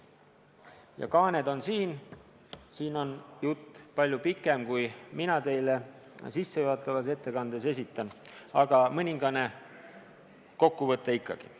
Ja kaaned on siin, siin on jutt palju pikem, kui mina teile sissejuhatavas ettekandes esitan, aga mõningane kokkuvõte ikkagi.